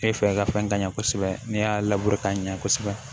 Ne fɛ ka fɛn ka ɲɛ kosɛbɛ ne y'a ka ɲɛ kosɛbɛ